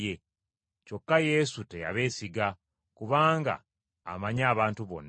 Kyokka Yesu teyabeesiga, kubanga amanyi abantu bonna,